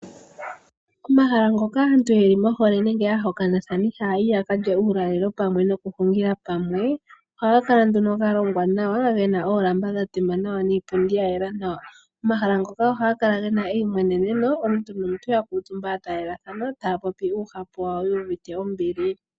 Omahala ngoka aantu ye li mohole nenge aahokanithani haya yi ya kalye uulalelo pamwe nokuhungila pamwe ohaga kala nduno ga longwa nawa, ge na oolamba dha tema nawa, niipundi ya yela nawa. Omahala ngoka ohaga kala gena eimweneneno , omuntu nomuntu ya kuutumba ya taalelathana taa popi oohapu dhawo yuuvite ombili.